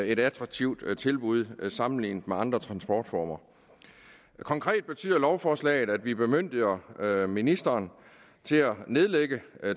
et attraktivt tilbud sammenlignet med andre transportformer konkret betyder lovforslaget at vi bemyndiger ministeren til at nedlægge